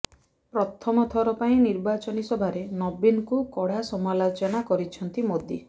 ପ୍ରଥମଥର ପାଇଁ ନିର୍ବାଚନୀ ସଭାରେ ନବୀନଙ୍କୁ କଡ଼ା ସମାଲୋଚନା କରିଛନ୍ତି ମୋଦି